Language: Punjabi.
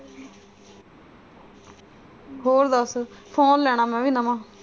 ਹੋਰ ਦਸ phone ਲੈਣਾ ਮੈਂ ਵੀ ਨਵਾਂ।